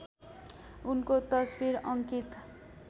उनको तस्बिर अङ्कित